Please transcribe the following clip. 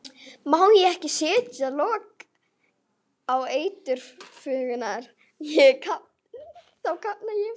Ég má ekki setja lok á eiturgufurnar, þá kafna ég.